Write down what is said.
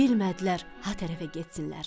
Bilmədilər ha tərəfə getsinlər.